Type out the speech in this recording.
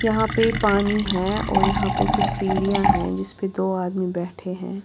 यहां पे पानी है और यहां पे कुछ सीढ़ियां हैं जिस पे दो आदमी बैठे हैं।